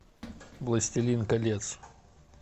властелин колец